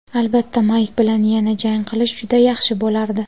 Albatta Mayk bilan yana jang qilish juda yaxshi bo‘lardi.